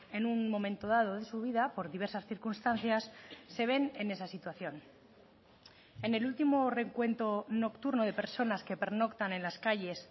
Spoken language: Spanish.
en un momento dado de su vida por diversas circunstancias se ven en esa situación en el último recuento nocturno de personas que pernoctan en las calles